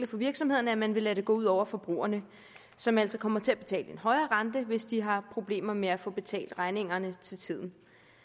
for virksomhederne at man vil lade det gå ud over forbrugerne som altså kommer til at betale en højere rente hvis de har problemer med at få betalt regningerne til tiden